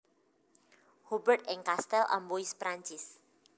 Hubert ing Kastel Amboise Perancis